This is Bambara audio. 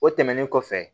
O tɛmɛnen kɔfɛ